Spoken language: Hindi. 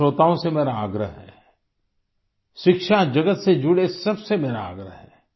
सभी श्रोताओं से मेरा आग्रह है शिक्षा जगत से जुड़े सब से मेरा आग्रह है